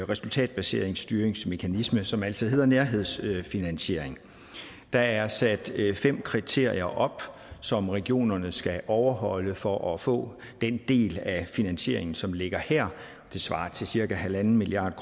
resultatbaseret styringsmekanisme som altså hedder nærhedsfinansiering der er sat fem kriterier op som regionerne skal overholde for at få den del af finansieringen som ligger her det svarer til cirka en milliard